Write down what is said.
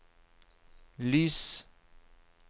lys